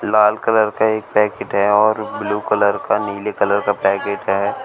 लाल colour का एक packet है और ब्लू कलर का नीले कलर का पैकेट है।